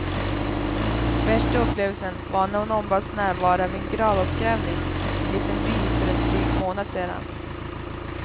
Värsta upplevelsen var när hon ombads närvara vid en gravuppgrävning i en liten by för en dryg månad sedan.